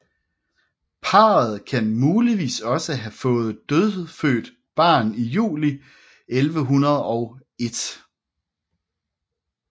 Parret kan muligvis også have fået et dødfødt barn i juli 1101